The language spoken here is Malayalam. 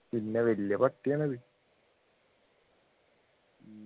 പിന്നെ വല്യ പട്ടിയാണ് അത്